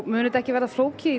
mun þetta ekki vera flókið í